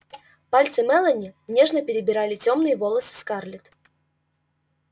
пальцы мелани нежно перебирали тёмные волосы скарлетт